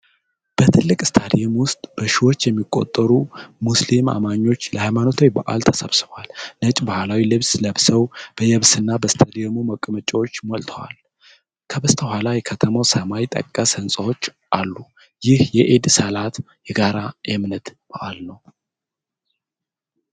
በትልቅ ስታዲየም ውስጥ በሺዎች የሚቆጠሩ ሙስሊም አማኞች ለሃይማኖታዊ በዓል ተሰብስበዋል። ነጭ ባህላዊ ልብስ ለብሰው፣ በየብስና በስታዲየሙ መቀመጫዎች ሞልተዋል። ከበስተኋላ የከተማው ሰማይ ጠቀስ ሕንጻዎች አሉ። ይህ የኢድ ሰላት የጋራ የእምነት በዓል ነው።